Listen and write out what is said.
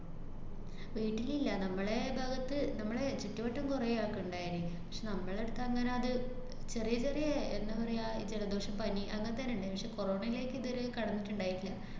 വീട്ടിലില്ല, നമ്മളെ ഭാഗത്ത് നമ്മളെ ചുറ്റുവട്ടം കൊറേ ആക്ക്ണ്ടായേന്. പക്ഷേ, നമ്മടടുത്ത് അങ്ങനെ അത് ചെറിയ ചെറിയന്താ പറയാ, ഈ ജലദോഷം, പനി, അങ്ങനത്തേനേ ഇണ്ടായീന്. പക്ഷേ corona എല്ലായ്ക്കും ഇതുവരെ കടന്നിട്ട്ണ്ടായില്ല.